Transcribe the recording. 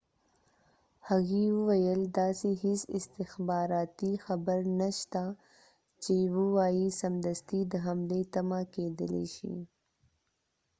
هغې وويل داسې هیڅ استخباراتی خبر نه شته چې ووایي سمدستی د حملی تمه کېدلای شي